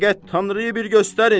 Fəqət tanrını bir göstərin.